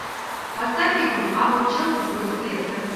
поставь игру апл челси против лестер